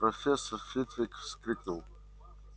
профессор фитвик вскрикнул